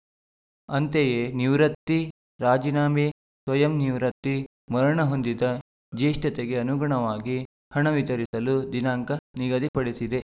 ಅಂತೆಯೇ ನಿವೃತ್ತಿ ರಾಜೀನಾಮೆ ಸ್ವಯಂ ನಿವೃತ್ತಿ ಮರಣ ಹೊಂದಿದ ಜೇಷ್ಠತೆಗೆ ಅನುಗುಣವಾಗಿ ಹಣ ವಿತರಿಸಲು ದಿನಾಂಕ ನಿಗದಿ ಪಡಿಸಿದೆ